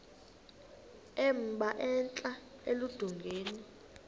emba entla eludongeni